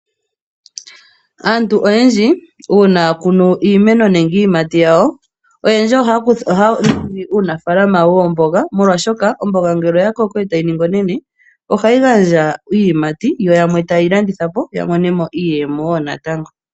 Aantu oyendji uuna ya kunu iimeno nenge iyimati yawo , oyendji ohaya kunu omboga mo lwaa shoka omboga ngele oya koko etayi ningi onene oha yi gandja iiyimati yo yimwe ta ye yi landithapo opo yamone mo iimaliwa.